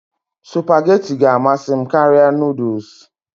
Supagetii ga-amasị m karịa noodles